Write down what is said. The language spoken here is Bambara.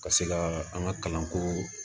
Ka se ka an ka kalanko